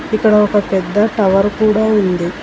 ఇక్కడ ఒక పెద్ద టవర్ కూడా ఉంది.